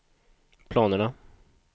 planerna